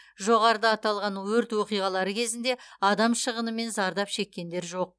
жоғарыда аталған өрт оқиғалары кезінде адам шығыны мен зардап шеккендер жоқ